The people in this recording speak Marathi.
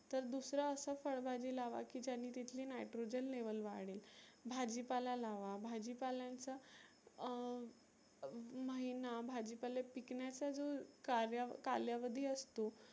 तर दुसरं असं फळ भाजी लावा की ज्यानी तिथली nitrogen level वाढेल. भाजी पाला लावा भाजी पाल्यांचा अं महिना भाजी पाले पिकण्याच जो कार्या कालावधी असतो